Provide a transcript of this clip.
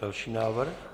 Další návrh.